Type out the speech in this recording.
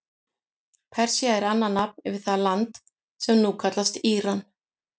Persía er annað nafn yfir það land sem nú kallast Íran.